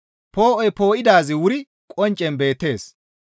Poo7oy poo7idaazi wuri qonccen beettees.